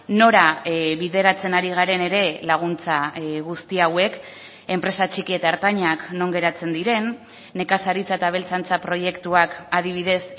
nora bideratzen ari garen ere laguntza guzti hauek enpresa txiki eta ertainak non geratzen diren nekazaritza eta abeltzaintza proiektuak adibidez